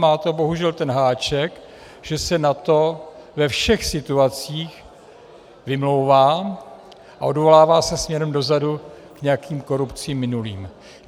Má to bohužel ten háček, že se na to ve všech situacích vymlouvá a odvolává se směrem dozadu k nějakým korupcím minulým.